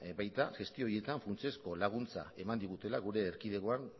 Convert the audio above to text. baita gestio horietan funtsezko laguntza eman digutela gure erkidegoan